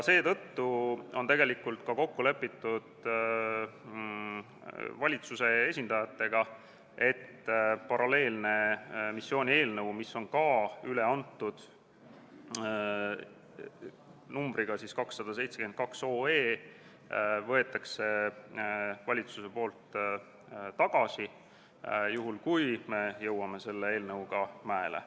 Seetõttu on valitsuse esindajatega kokku lepitud, et paralleelne missioonieelnõu numbriga 272, mis on ka üle antud, võetakse valitsuse poolt tagasi, juhul kui me jõuame selle eelnõuga mäele.